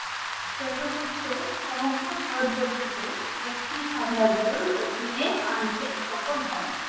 চন্দ্রগুপ্ত সমগ্র ভারতবর্ষ কে একটি সাম্রাজ্যের অধীনে আনতে সফল হন।